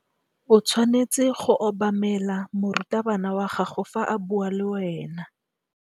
O tshwanetse go obamela morutabana wa gago fa a bua le wena.